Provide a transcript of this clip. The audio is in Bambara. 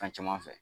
Fɛn caman fɛ